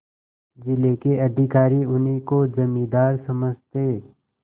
जिले के अधिकारी उन्हीं को जमींदार समझते